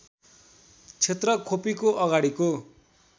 क्षेत्र खोपीको अगाडिको